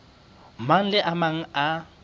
mang le a mang a